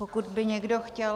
Pokud by někdo chtěl...